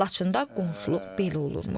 Laçında qonşuluq belə olurmuş.